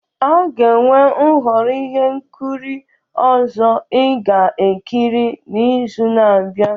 A ga-enwe nhọrọ ihe nkiri ọzọ ị ga-ekiri n'izu na-abịa.